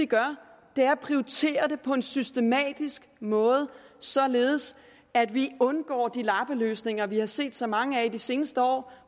gør er at prioritere det på en systematisk måde således at vi undgår de lappeløsninger vi har set så mange af i de seneste år